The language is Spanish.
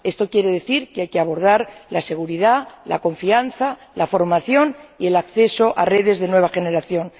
Esto quiere decir que hay que abordar la seguridad, la confianza, la formación y el acceso a redes de nueva generación.